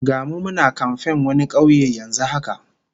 Ga mu muna kamfen wani kauye yanzu haka